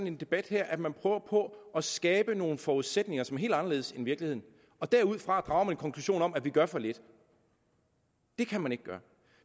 en debat her man prøver på at skabe nogle forudsætninger som er helt anderledes end i virkeligheden og derudfra drager man en konklusion om at vi gør for lidt det kan man ikke gøre